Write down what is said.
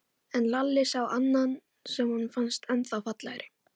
En Lalli sá annan sem honum fannst ennþá fallegri.